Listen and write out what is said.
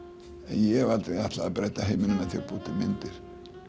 ég hef aldrei ætlað að breyta heiminum með því að búa til myndir